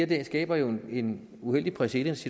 det her skaber jo en uheldig præcedens